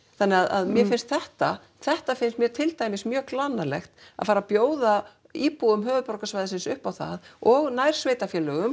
þannig að mér finnst þetta þetta finnst mér til dæmis mjög glannalegt að fara að bjóða íbúum höfuðborgarsvæðisins upp á það og